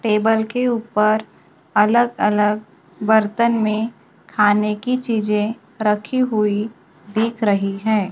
Table के ऊपर अलग अलग बर्तन में खाने की चीजें रखी हुई दिख रही हैं।